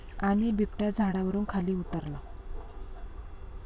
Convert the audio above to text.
...आणि बिबट्या झाडावरुन खाली उतरला